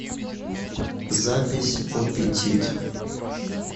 запись опетит